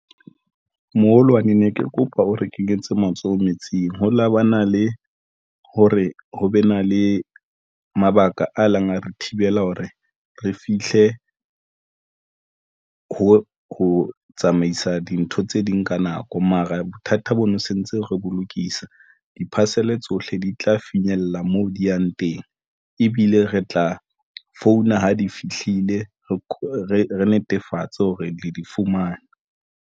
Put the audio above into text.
Moholwane ne ke kopa o re kenyetse matsoho metsing. Ho la bana le ho re ho be na le mabaka a leng a re thibela hore re fihle ho tsamaisa dintho tse ding ka nako, mara bothata bo ne sentse re bo lokisa. Di-parcel tsohle di tla finyella moo di yang teng ebile re tla founa ha di fihlile, re netefatse hore le di fumana.